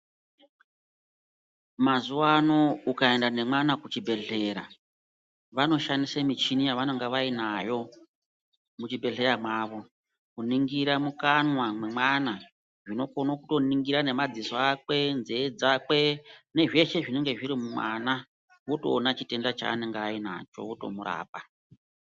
Mazuvaano ukaenda nemwana kuchibhedhlera vanoshandisa michini yavanonga vainayo muchibhedhlera mwavo kuningira mukanwa mwemwana vanokone kutoningire nemadziso akwe nzee dzakwe nezveshe zvinonga zviri mumwana votoona chitenda chaanenge atori nacho votomurapa.